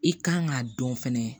I kan k'a dɔn fɛnɛ